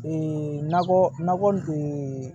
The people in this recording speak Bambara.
nakɔ nakɔ